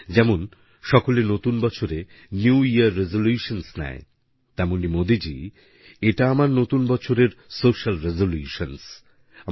যেমন সকলে নতুন বছরে নিউ ইয়ার রেজোলিউশনসহ নেয় তেমনি মোদীজি এটা আমার নতুন বছরের সোশিয়াল রেজোলিউশনসহ